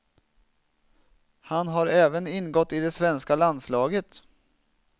Han har även ingått i det svenska landslaget.